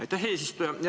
Aitäh, eesistuja!